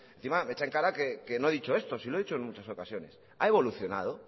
encima me echa en cara que no he dicho esto si lo he dicho en muchas ocasiones ha evolucionado